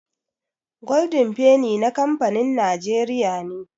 Golden penny na kamfanin Najeriya ne